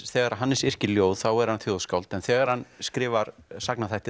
þegar Hannes yrkir ljóð þá er hann þjóðskáld en þegar hann skrifar